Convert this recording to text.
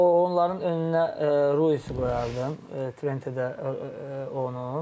O onların önünə Ruifi qoyardım, Treteredə onu.